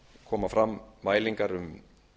koma fram mælingar um